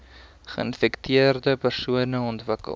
geinfekteerde persone ontwikkel